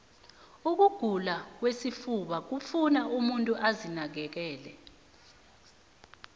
ukugula kwesifuba kufuna umuntu azinakekele